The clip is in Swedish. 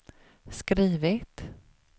skrivit